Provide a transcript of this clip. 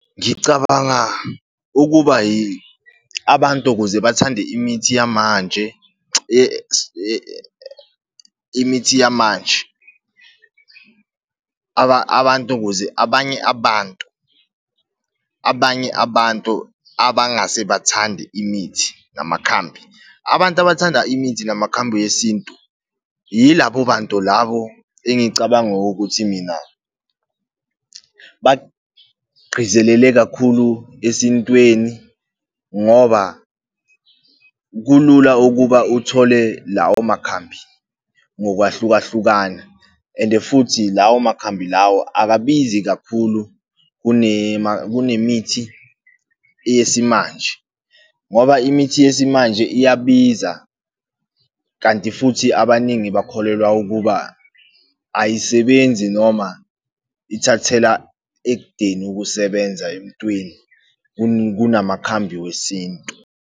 Ngicabanga ukuba abantu ukuze bathande imithi yamanje, imithi yamanje, abantu ukuze abanye abantu, abanye abantu abangase bathande imithi namakhambi. Abantu abathanda imithi namakhambi wesintu, yilabo bantu labo engicabanga ukuthi mina bagqizelele kakhulu esintweni, ngoba kulula ukuba uthole lawo makhambi ngokwahlukahlukana, and-e futhi lawo makhambi lawo akabizi kakhulu kunemithi yesimanje, ngoba imithi yesimanje iyabiza, kanti futhi abaningi bakholelwa ukuba ayisebenzi noma ithathela ekudeni ukusebenza emntwini kunamakhambi wesintu.